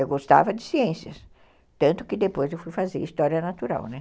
Eu gostava de ciências, tanto que depois eu fui fazer História Natural, né?